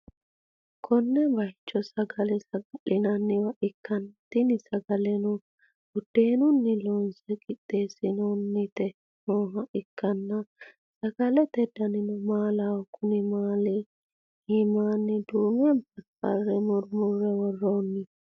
konne bayicho sagale saga'linanniwa ikkanna, tini sagaleno budeenunni loonse qixxeesinoonniti nooha ikkanna, sagalete danino maalaho, konni maali iimanni duume barbare murmurre worroonni.